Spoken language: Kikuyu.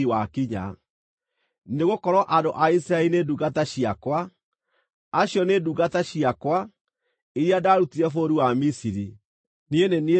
nĩgũkorwo andũ a Isiraeli nĩ ndungata ciakwa. Acio nĩ ndungata ciakwa, iria ndaarutire bũrũri wa Misiri. Niĩ nĩ niĩ Jehova Ngai wanyu.